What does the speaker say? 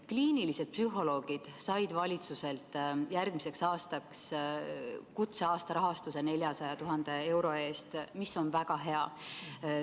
Kliinilised psühholoogid said valitsuselt järgmiseks aastaks kutseaasta rahastusena 400 000 eurot, see on väga hea.